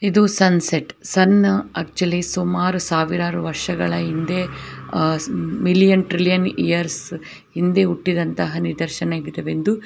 ಇದು sunset sun actually ಸುಮಾರು ಸಾವಿರಾರು ವರ್ಷಗಳ ಹಿಂದೆ ಅಹ್ ಮಿಲಿಯನ್ ಟ್ರಿಲಿಯನ್ ಇಯರ್ಸ್ ಹಿಂದೆ ಹುಟ್ಟಿದಂತಹ ನಿದರ್ಶನ ವಿದೇವೆಂದು --